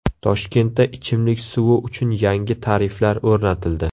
Toshkentda ichimlik suvi uchun yangi tariflar o‘rnatildi.